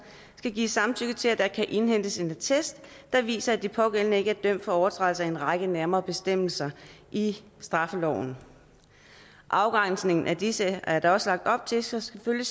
skal give samtykke til at der kan indhentes en attest der viser at de pågældende ikke er dømt for overtrædelse af en række nærmere bestemmelser i straffeloven afgrænsningen af disse er der også lagt op til selvfølgelig